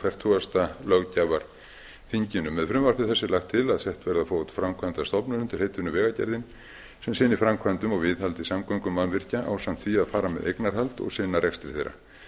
fertugasta löggjafarþinginu með frumvarpi þessu er lagt til að sett verði á fót framkvæmdastofnun undir heitinu vegagerðin sem sinnir framkvæmdum og viðhaldi samgöngumannvirkja ásamt því að fara geti eignarhald og sinna rekstri þeirra